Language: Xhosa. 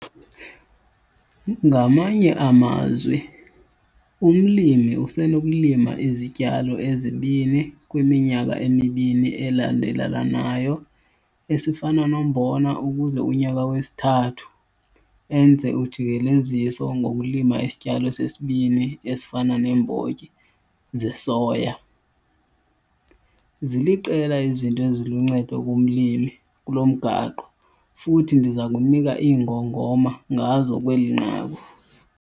Ngamanye amazwi, umlimi usenokulima izityalo ezibini kwiminyaka emibini elandelelanayo esifana nombona ukuze kunyaka wesithathu enze ujikeleziso ngokulima isityalo sesibini esifana neembotyi zesoya. Ziliqela izinto eziluncedo kumlimi kulo mgaqo futhi ndiza kunika iingongoma ngazo kweli nqaku.